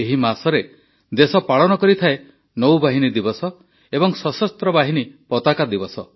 ଏହି ମାସରେ ଦେଶ ପାଳନ କରେ ନୌବାହିନୀ ଦିବସ ଏବଂ ସଶସ୍ତ୍ର ବାହିନୀ ପତାକା ଦିବସ